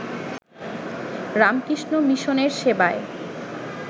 রামকৃষ্ণ মিশনের সেবায়